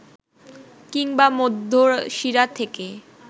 কিংবা মধ্যশিরা থেকে